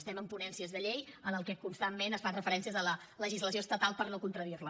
estem en ponències de llei en les que constantment es fan referències a la legislació estatal per no contradir la